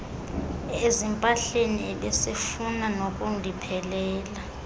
ezimpahleni ebesefuna nokundiphelela